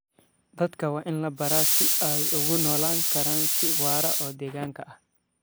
Dadka waa in la baraa sida ay ugu noolaan karaan si waara oo deegaanka ah.